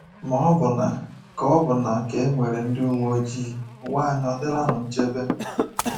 Ma ọbụna ka ọbụna ka e nwere ndị uwe ojii, ụwa anyị ọ̀ dịlanụ nchebe?